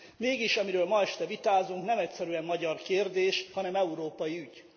Mégis, amiről ma este vitázunk, nem egyszerűen magyar kérdés, hanem európai ügy.